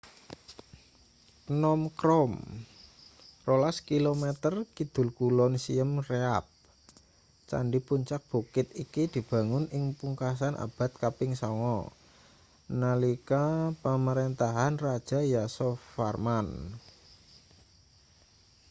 phnom krom 12 km kidul kulon siem reap candi puncak bukit iki dibangun ing pungkasan abad kaping 9 nalika pamarentahan raja yasovarman